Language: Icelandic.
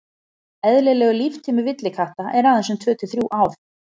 eðlilegur líftími villikatta er aðeins um tvö til þrjú ár